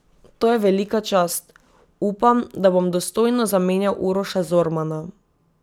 To je velika čast, upam, da bom dostojno zamenjal Uroša Zormana.